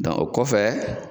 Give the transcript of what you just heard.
Dɔn o kɔfɛ